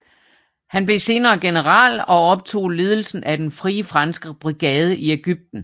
Han blev senere general og overtog ledelsen af den Frie Franske brigade i Ægypten